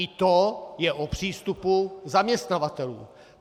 I to je o přístupu zaměstnavatelů.